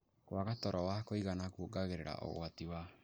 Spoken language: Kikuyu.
Kwaga toro wa kũigana kuongereraga ũgwati wa